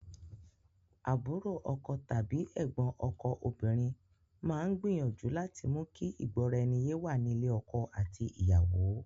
Àbúrò ọkọ tàbí ẹ̀gbọ́n ọkọ obìnrin máa ń gbìyànju láti mú kí ìgbóraẹniyé wà ní ilé ọkọ àti ìyàwó.